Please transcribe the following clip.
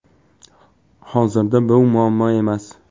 Hozirda bu muammo emas.